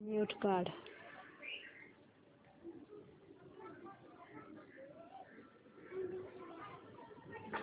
mute काढ